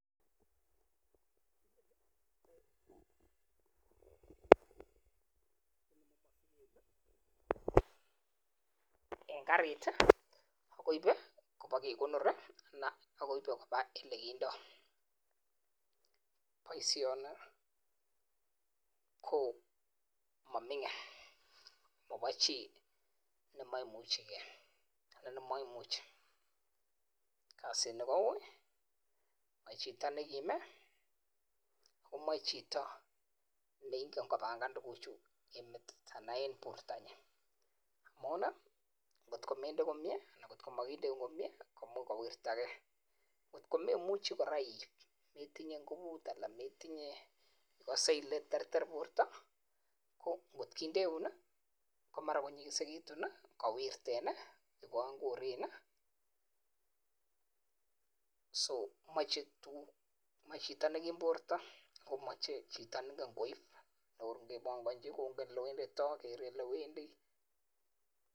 Eng karit kokaip pandek chepkekondoriii kasini kouiii mamche chitoo nrmememuchiiii koip komagoi kekonij iiip amun nyigisen meche Chito neingen koib